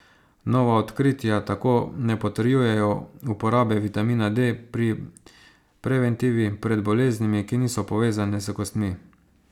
Nova odkritja tako ne potrjujejo uporabe vitamina D pri preventivi pred boleznimi, ki niso povezane s kostmi.